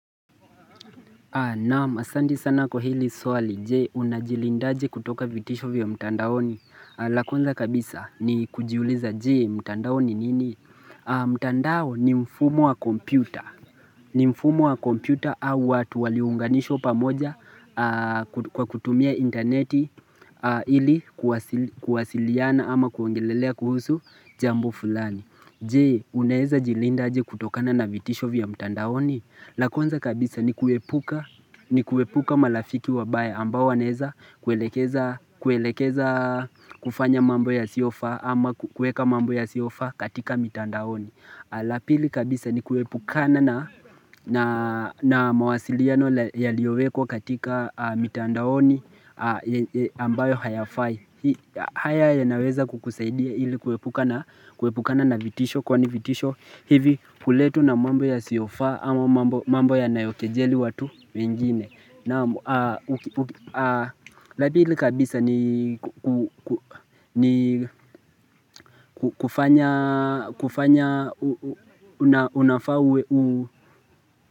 Naam asandi sana kwa hili swali je unajilindaje kutoka vitisho vya mtandaoni la kwanza kabisa ni kujiuliza je mtandao ni nini mtandao ni mfumo wa kompyuta ni mfumo wa kompyuta au watu waliounganishwa pamoja kwa kutumia interneti ili kuwasiliana ama kuongelelea kuhusu jambo fulani Je unaeza jilindaje kutokana na vitisho vya mtandaoni la kwanza kabisa ni kuepuka malafiki wabaya ambao waneza kuelekeza kufanya mambo yasiofa ama kuweka mambo ya siofaa katika mitandaoni. La pili kabisa ni kuepukana na mawasiliano yaliowekwa katika mitandaoni ambayo hayafai haya yanaweza kukusaidia hili kuepukana na vitisho Kwani vitisho hivi huletwa na mambo yasiyofaa ama mambo yanayokejeli watu mingine la pili kabisa ni kufanya unafaa uwe uu.